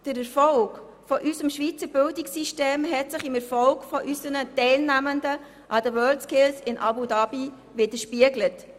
Der Erfolg unseres Schweizer Bildungssystems hat sich im Erfolg unserer Teilnehmenden an den WorldSkills in Abu Dhabi widerspiegelt.